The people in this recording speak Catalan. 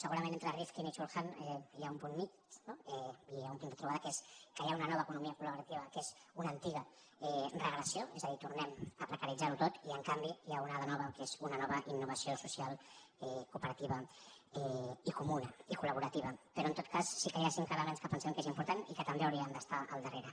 segurament entre rifkin i chul han hi ha un punt mitjà no i hi ha un punt de trobada que és que hi ha una nova economia col·gressió és a dir tornem a precaritzar ho tot i en canvi n’hi ha una de nova que és una nova innovació social cooperativa i comuna i colperò en tot cas sí que hi ha cinc elements que pensem que són importants i que també hi hauríem d’estar al darrere